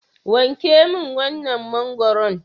Wanke min wannan mangwaron.